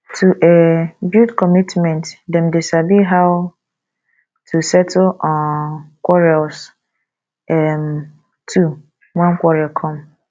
to um build commitment them de sabi how to settle quarrels um too when quarrel come